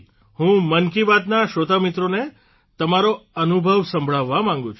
હું મન કી બાતના શ્રોતામિત્રોને તમારો અનુભવ સંભળાવવા માંગું છું